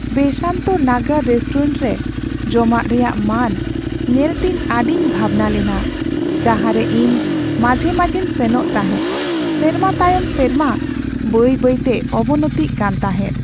Basant Nagar restaurant ᱨᱮ ᱡᱚᱢᱟᱜ ᱨᱮᱭᱟᱜ ᱢᱟᱹᱱ ᱧᱮᱞᱛᱮᱧ ᱟᱹᱰᱤᱧ ᱵᱷᱟᱵᱽᱱᱟ ᱞᱮᱱᱟ, ᱡᱟᱦᱟᱸᱨᱮ ᱤᱧ ᱢᱟᱡᱷᱮ ᱢᱟᱡᱷᱮᱧ ᱥᱮᱱᱚᱜ ᱛᱟᱦᱮᱸ, ᱥᱮᱨᱢᱟ ᱛᱟᱭᱚᱢ ᱥᱮᱨᱢᱟ ᱵᱟᱹᱭ ᱵᱟᱹᱭᱛᱮ ᱚᱵᱚᱱᱚᱛᱤᱜ ᱠᱟᱱ ᱛᱟᱦᱮᱫ ᱾